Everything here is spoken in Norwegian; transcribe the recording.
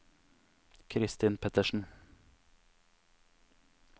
Kristin Pettersen